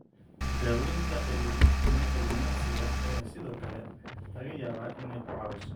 Daaweynta cilminafsiga ayaa sidoo kale laga yaabaa inay ku caawiso.